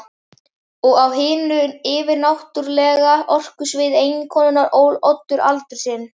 Og á hinu yfirnáttúrlega orkusviði eiginkonunnar ól Oddur aldur sinn.